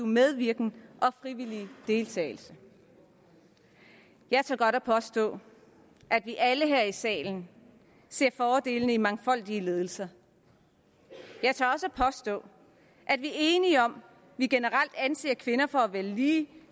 medvirken og frivillige deltagelse jeg tør godt påstå at vi alle her i salen ser fordelene i mangfoldige ledelser jeg tør også påstå at vi er enige om at vi generelt anser kvinder for at være lige